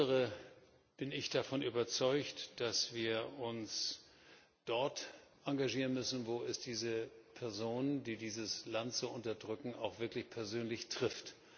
Insbesondere bin ich davon überzeugt, dass wir uns dort engagieren müssen, wo es diese Personen, die dieses Land so unterdrücken, auch wirklich persönlich trifft.